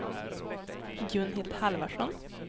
Gunhild Halvarsson